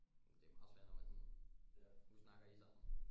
Men det er jo meget sværere når man sådan nu snakker I sammen